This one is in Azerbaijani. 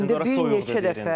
Əslində ora soyuqdur deyə bilərik.